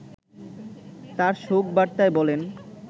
তার শোক বার্তায় বলেন